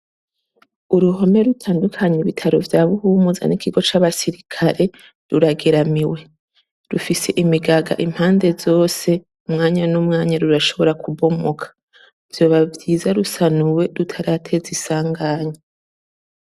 Uruhome rutandukanya ibitaro vya Buhumuza n'ikigo c'abasirikare rurageramiwe, rufise imigaga impande zose, umwanya n'umwanya, rurashobora kubomoka. Vyoba vyiza rusanuwe rutarateza isanganya.